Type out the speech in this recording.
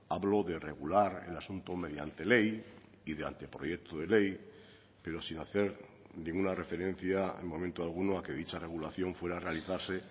hablo de regular el asunto mediante ley y de anteproyecto de ley pero sin hacer ninguna referencia en momento alguno a que dicha regulación fuera a realizarse